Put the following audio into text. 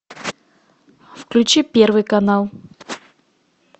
включи первый канал